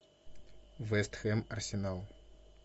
вест хэм арсенал